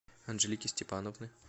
анжелики степановны